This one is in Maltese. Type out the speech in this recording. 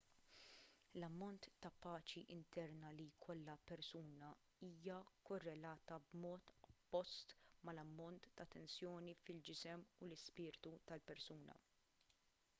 l-ammont ta' paċi interna li jkollha persuna hija korrelatata b'mod oppost mal-ammont ta' tensjoni fil-ġisem u l-ispirtu tal-persuna